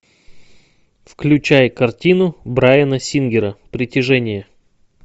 включай картину брайана сингера притяжение